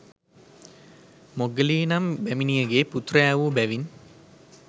මොග්ගලී නම් බැමිණියගේ පුත්‍රයාවූ බැවින්